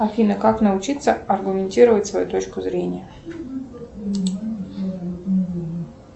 афина как научиться аргументировать свою точку зрения